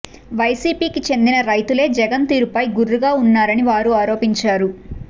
వైసీపీకి చెందిన రైతులే జగన్ తీరుపై గుర్రుగా ఉన్నారని వారు ఆరోపించారు